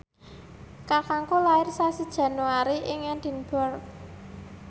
kakangku lair sasi Januari ing Edinburgh